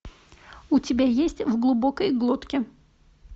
у тебя есть в глубокой глотке